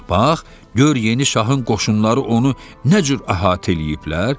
Bax, gör yeni şahın qoşunları onu nə cür əhatə eləyiblər?